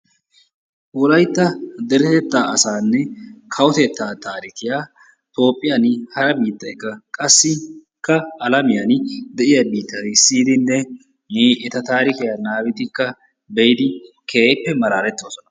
Wolaytta deretettaa asaanne kawotettaa tarikkiyaa toophphiyaan hara biittaykka qassi alamiyaan de'iyaa biittay siyidinne eta taarikiyaa nababidi be'idi keehippe malaaletoosona.